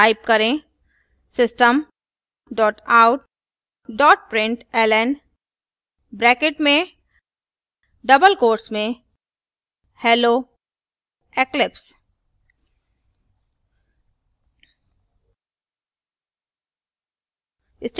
type करें system out println hello eclipse